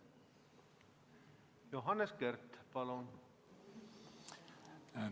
Johannes Kert, palun!